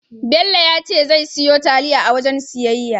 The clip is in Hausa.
Bello ya ce zai siyo taliya a wajen siyayya.